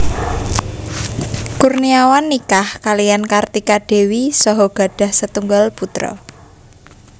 Kurniawan nikah kaliyan Kartika Dewi saha gadhah setunggal putra